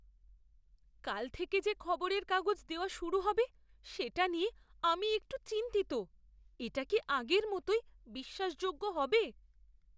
কাল থেকে যে খবরের কাগজ দেওয়া শুরু হবে সেটা নিয়ে আমি একটু চিন্তিত। এটা কি আগের মতোই বিশ্বাসযোগ্য হবে?